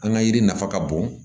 An ka yiri nafa ka bon